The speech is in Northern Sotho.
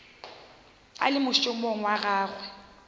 a le mošomong wa gagwe